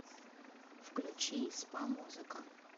включи спа музыка